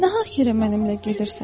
Nahaq yerə mənimlə gedirsən.